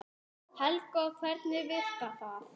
Helga: Hvernig virkar það?